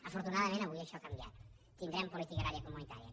afortunadament avui això ha canviat tindrem política agrària comunitària